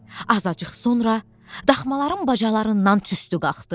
Azacıq sonra daxmaların bacalarından tüstü qalxdı.